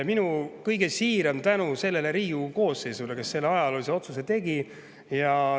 Minu kõige siiram tänu sellele Riigikogu koosseisule, kes selle ajaloolise otsuse tegi.